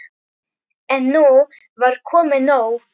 En nú var komið nóg.